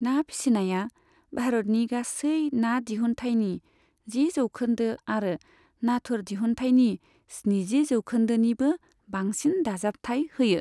ना फिसिनाया भारतनि गासै ना दिहुनथायनि जि जौखोन्दो आरो नाथुर दिहुनथायनि स्निजि जौखोन्दोनिबो बांसिन दाजाबथाय होयो।